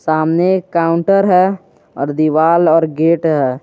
सामने एक काउंटर है और दीवाल और गेट हैं।